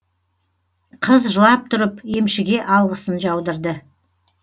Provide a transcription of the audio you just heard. қыз жылап тұрып емшіге алғысын жаудырды